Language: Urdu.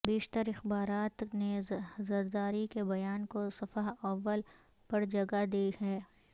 بیشتر اخبارات نے زرداری کے بیان کو صفحہ اول پرجگہ دی ہے